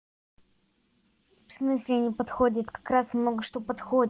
в смысле не подходит как раз много что подходит